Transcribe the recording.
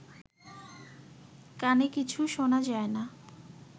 কানে কিছু শোনা যায় না